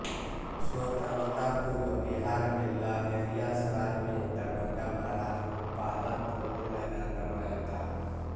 स्वतंत्रतापूर्व बिहार में लहेरिया सराय में दरभंगा महाराज ने पहला पोलो मैदान बनवाया था